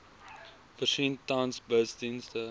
voorsien tans busdienste